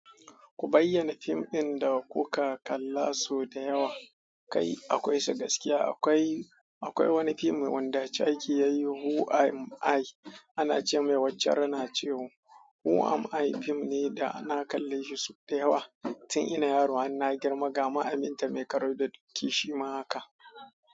Ku bayyana fim ɗin da kuka kalla sau da yawa. Kai! Akwaisu gaskiya. Akwai, akwai wani fim wanda Charkie yayi "Who Am I "ana ce mai wacce rana chio. "Who Am I" fim ne da na kalle shi sau da yawa tun ina yaro. Har na girma gama Aminta mai karo da doki shima haka.